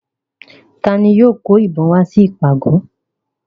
Ta ni yóò kó ìbọn wá sí ìpàgọ̀?